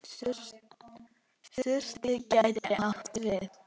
Surtur gæti átt við